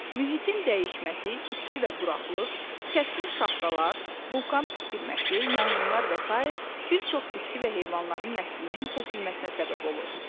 Mühitin dəyişməsi, isti və quraqlıq, kəskin şaxtalar, vulkan püskürməsi, yanğınlar və sair bir çox bitki və heyvanların nəslinin kəsilməsinə səbəb olur.